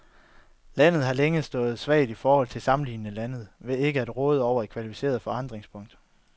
Landet har længe stået svagt i forhold til sammenlignelige lande ved ikke at råde over et kvalificeret forankringspunkt.